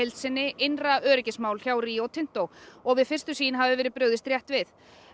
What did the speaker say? innra öryggismál hjá Rio Tinto og við fyrstu sýn hafi verið brugðist rétt við